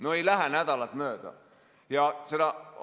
No ei lähe nädalat mööda!